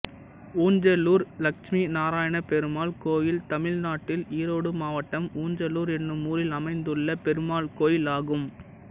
ஊஞ்சலூர் லட்சுமிநாராயணபெருமாள் கோயில் தமிழ்நாட்டில் ஈரோடு மாவட்டம் ஊஞ்சலூர் என்னும் ஊரில் அமைந்துள்ள பெருமாள் கோயிலாகும்